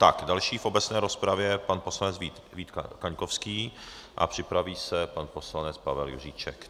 Tak, další v obecné rozpravě pan poslanec Vít Kaňkovský a připraví se pan poslanec Pavel Juříček.